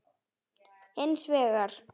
Hins vegar